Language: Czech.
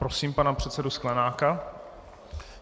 Prosím pana předsedu Sklenáka.